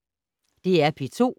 DR P2